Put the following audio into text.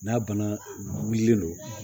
N'a bana wililen don